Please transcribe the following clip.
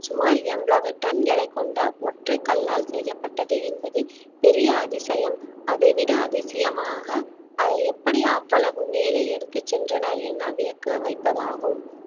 சுமார் எண்பது டன் எடை கொண்ட ஒற்றை கல்லால் செய்யப்பட்டது என்பது பெரிய அதிசயம் அதைவிட அதிசயமாக அதை எப்படி அவ்வளவு மேலே எடுத்துச் சென்றனர் என வியக்க வைப்பதாகும்